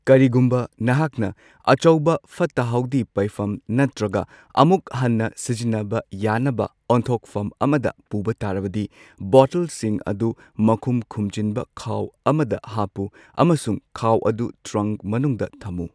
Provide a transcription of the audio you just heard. ꯀꯔꯤꯒꯨꯝꯕ ꯅꯍꯥꯛꯅ ꯑꯆꯧꯕ ꯐꯠꯇ ꯍꯥꯎꯗꯤ ꯄꯩꯐꯝ ꯅꯠꯇ꯭ꯔꯒ ꯑꯃꯨꯛ ꯍꯟꯅ ꯁꯤꯖꯤꯟꯅꯕ ꯌꯥꯅꯕ ꯑꯣꯟꯊꯣꯛꯐꯝ ꯑꯃꯗ ꯄꯨꯕ ꯇꯥꯔꯕꯗꯤ, ꯕꯣꯇꯜꯁꯤꯡ ꯑꯗꯨ ꯃꯈꯨꯝ ꯈꯨꯝꯖꯤꯟꯕ ꯈꯥꯎ ꯑꯃꯗ ꯍꯥꯞꯄꯨ ꯑꯃꯁꯨꯡ ꯈꯥꯎ ꯑꯗꯨ ꯇ꯭ꯔꯪꯛ ꯃꯅꯨꯡꯗ ꯊꯝꯃꯨ꯫